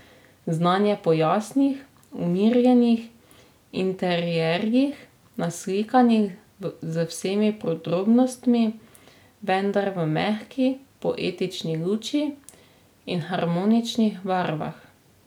Znan je po jasnih, umirjenih interierjih, naslikanih z vsemi podrobnostmi, vendar v mehki, poetični luči in harmoničnih barvah.